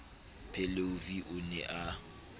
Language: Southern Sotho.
pheleu v o ne a